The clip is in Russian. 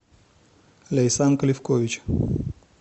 ляйсанка левкович